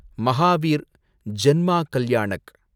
Mahavir Janma Kalyanak